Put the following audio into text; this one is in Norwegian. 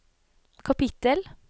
kapittel